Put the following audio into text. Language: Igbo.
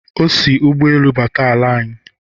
o si ụgbọelu bata ala anyị.